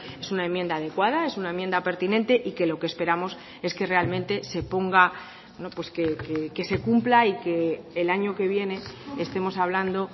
es una enmienda adecuada es una enmienda pertinente y que lo que esperamos es que realmente se ponga que se cumpla y que el año que viene estemos hablando